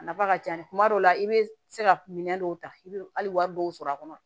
A nafa ka ca kuma dɔw la i bɛ se ka minɛn dɔw ta i bɛ hali wari dɔw sɔrɔ a kɔnɔ